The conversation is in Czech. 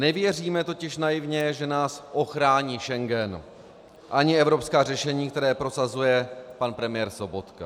Nevěříme totiž naivně, že nás ochrání Schengen ani evropská řešení, která prosazuje pan premiér Sobotka.